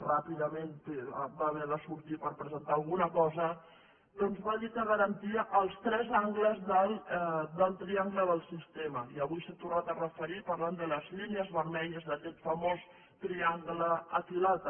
ràpidament va haver de sortir per presentar alguna cosa doncs va dir que garantia els tres angles del triangle del sistema i avui s’hi ha tornat a referir parlant de les línies vermelles d’aquest famós triangle equilàter